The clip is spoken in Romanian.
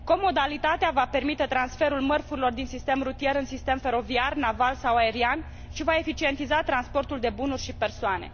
Co modalitatea va permite transferul mărfurilor din sistem rutier în sistem feroviar, naval sau aerian și va eficientiza transportul de bunuri și persoane.